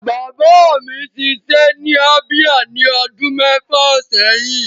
Bàbá mi ṣiṣẹ́ ní Abia ní ọdún mẹ́fà sẹ́yìn.